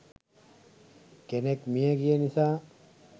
කෙනෙක් මියගිය නිසා.